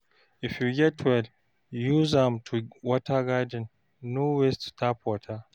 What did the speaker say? If you get well, use am to water garden, no waste tap water.